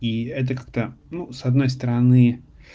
и это как-то ну с одной стороны